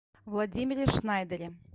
владимире шнайдере